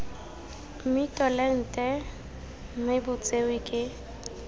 mmitolente mme bo tsewe ke